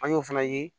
An y'o fana ye